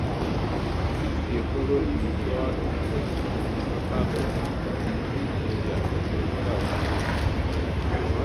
dis dey follow di withdrawal of police from di local goment council secretariats for rivers state um